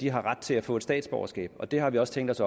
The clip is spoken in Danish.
har ret til at få statsborgerskab det har vi også tænkt os